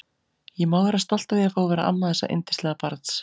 Ég má vera stolt af því að fá að vera amma þessa yndislega barns.